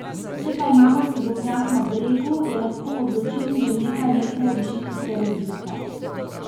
Če pa imamo sadovnjak na bregu, je lahko odločilnih že nekaj metrov višinske razlike.